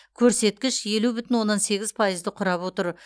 көрсеткіш елу бүтін оннан сегіз пайызды құрап отыр